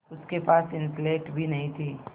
उसके पास स्लेट भी नहीं थी